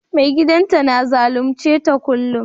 Mai gidan ta na zalunce ta kullum?